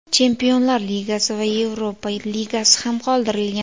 Chempionlar Ligasi va Yevropa Ligasi ham qoldirilgan.